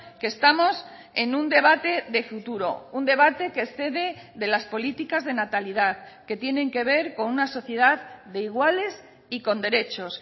que estamos en un debate de futuro un debate que excede de las políticas de natalidad que tienen que ver con una sociedad de iguales y con derechos